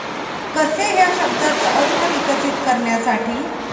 कसे ह्या शब्दाचा अर्थ विकसित करण्यासाठी?